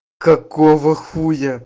какова хуя